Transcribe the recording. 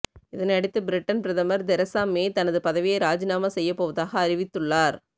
இதனையடுத்து பிரிட்டன் பிரதமர் Theresa May தனது பதவியை ராஜினாமா செய்யப்போவதாக அறிவித்துள்ளார்